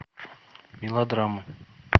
мелодрамы